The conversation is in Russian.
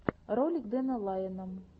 ролик дэна лайона